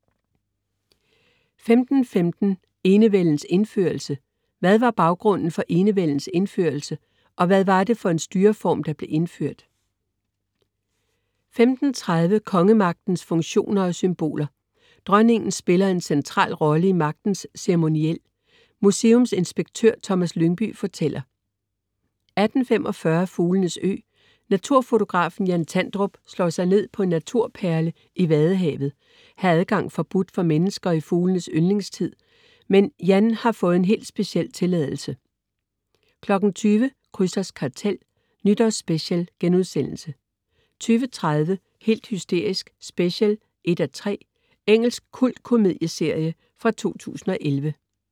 15.15 Enevældens indførelse. Hvad var baggrunden for enevældens indførsel? Og hvad var det for en styreform, der blev indført? 15.30 Kongemagtens funktioner og symboler. Dronningen spiller en central rolle i magtens ceremoniel. Museumsinspektør Thomas Lyngby fortæller 18.45 Fuglenes ø. Naturfotografen Jan Tandrup slår sig ned på en naturperle i vadehavet. Her er adgang forbudt for mennesker i fuglenes yngletid, men Jan har fået en hel speciel tilladelse 20.00 Krysters Kartel Nytårsspecial* 20.30 Helt hysterisk, special 1:3. Engelsk kultkomedieserie fra 2011